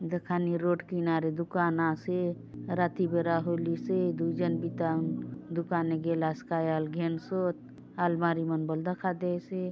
दखा ने रोड किनारे दुकान आसे राती बेरा हो लिस हे दू झन बिता दुकान गे लास काय अलघेन सोत अलमारी मन बल दखा देय से --